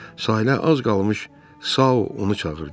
Sahilə az qalmış Sau onu çağırdı.